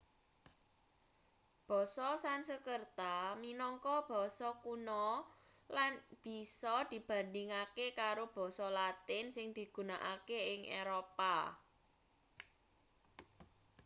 basa sansekerta minangka basa kuna lan bisa dibandhingake karo basa latin sing digunakake ing eropa